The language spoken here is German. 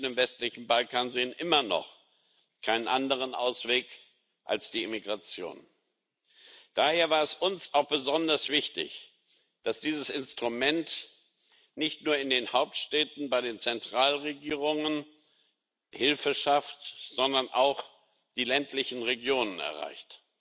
Viele Menschen im westlichen Balkan sehen immer noch keinen anderen Ausweg als die Emigration, Daher war es uns auch besonders wichtig, dass dieses Instrument nicht nur in den Hauptstädten bei den Zentralregierungen Hilfe schafft, sondern auch die ländlichen Regionen erreicht.